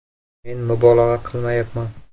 Men mubolag‘a qilmayapman.